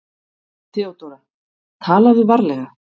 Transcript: THEODÓRA: Talaðu varlega.